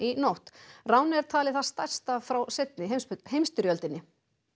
nótt ránið er talið það stærsta frá seinni heimsstyrjöldinni